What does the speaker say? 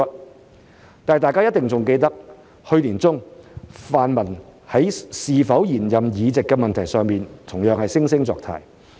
不過，大家一定仍記得，去年年中，泛民在是否延任議席的問題上，同樣惺惺作態。